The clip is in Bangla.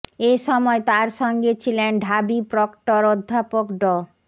এ সময় তার সঙ্গে ছিলেন ঢাবি প্রক্টর অধ্যাপক ড